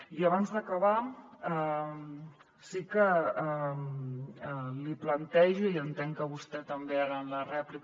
i abans d’acabar sí que li plantejo i entenc que vostè també ara en la rèplica